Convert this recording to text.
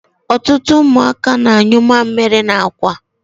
Ọtụtụ ụmụaka na-anyụ mamịrị n'akwa.